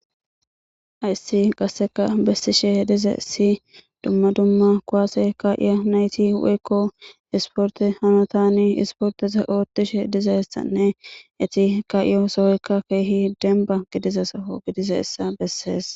Ayssi gasseka bessishe dize si dumma dumma kowaase ka'iya nayti woykko isporte hanotani isporteza oottishe dizeessanne eti ka'iyo sohoykka keehi demba gidiza sao gidize essa bessees.